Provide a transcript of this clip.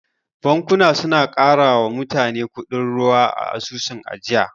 Bankuna suna karawa mutane kudin ruwa a asusun ajiya.